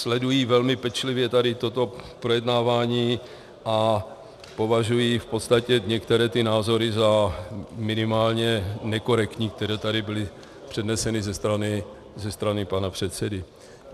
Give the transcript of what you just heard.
Sledují velmi pečlivě tady toto projednávání a považují v podstatě některé ty názory za minimálně nekorektní, které tady byly předneseny ze strany pana předsedy.